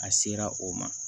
A sera o ma